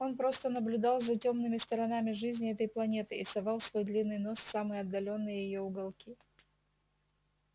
он просто наблюдал за тёмными сторонами жизни этой планеты и совал свой длинный нос в самые отдалённые её уголки